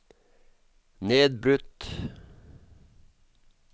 nedbrutt